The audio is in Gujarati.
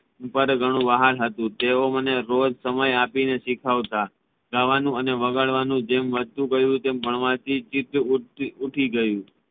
પર ઘણું વ્હાલ હતુ તેઓ મને રોજ સમય આપીને શીખવતા ગાવાનું અને વગાડવાનુ જેમ વધતુ ગયુ તેમ ભણવાથી ચિત્ત ઉઠી ગયુ